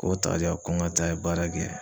K'o ta k'a di yan ko ŋa taa baara kɛ